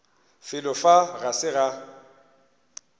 felo fa ga se ga